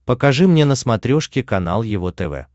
покажи мне на смотрешке канал его тв